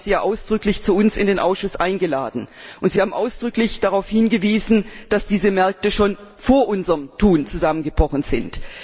Wir haben sie ja zu uns in den Ausschuss eingeladen, und sie haben ausdrücklich darauf hingewiesen, dass diese Märkte schon vor unserem Tun zusammengebrochen sind.